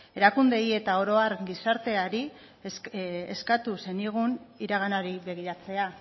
erakundeei eta oro har gizarteari eskatu zenigun iraganari begiratzea